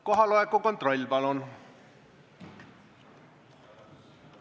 Kohaloleku kontroll, palun!